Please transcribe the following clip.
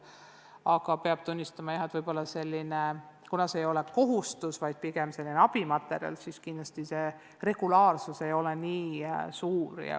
Aga jah, peab tunnistama, et kuna nende lahendamine ei ole kohustus, vaid pigem moodustavad need sellise abimaterjali, siis ei töötata nendega regulaarselt.